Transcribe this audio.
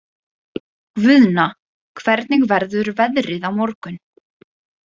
Guðna, hvernig verður veðrið á morgun?